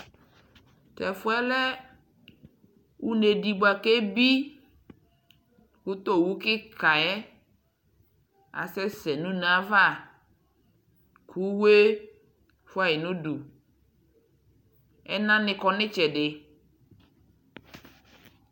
Tɛfɔɛ lɛ une ɖɩ bua keɓɩ, ku towu kika yɛ asɛsɛ nu une ava Uwe fua yi nuɖu Ɛnani kɔ nitsɛɖi